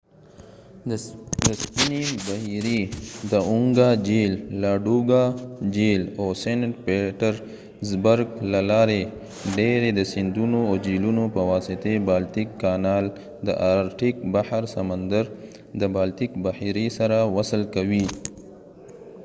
د سپینې بحیرې–د اونګا جھیل، لاډوګا جهیل او سینټ پیټرزبرګ له لارې، ډیری د سیندونو او جهيلونو په واسطه بالتیک کانال د آرټیک بحر سمندر د بالتیک بحیرې سره وصل کوي